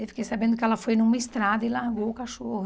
Eu fiquei sabendo que ela foi numa estrada e largou o cachorro.